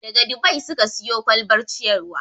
Daga Dubai suka siyo kwalbar ciyarwa.